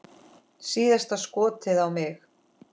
Síðasta skotið á mig.